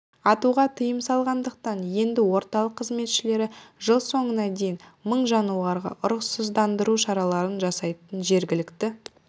атуға тыйым салынғандықтан енді орталық қызметшілері жыл соңына дейін мың жануарға ұрықсыздандыру шараларын жасайды жергілікті